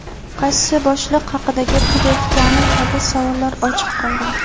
qaysi boshliq haqida gap ketayotgani kabi savollar ochiq qolgan.